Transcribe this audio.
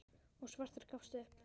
og svartur gafst upp.